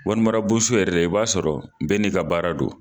Warimara bonso yɛrɛ i b'a sɔrɔ bɛɛ n'i ka baara don.